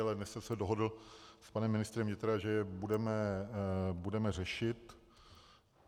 Ale dnes jsem se dohodl s panem ministrem vnitra, že je budeme řešit.